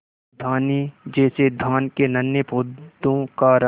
धानी जैसे धान के नन्हे पौधों का रंग